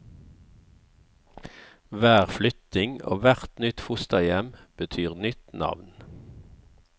Hver flytting og hvert nytt fosterhjem betyr nytt navn.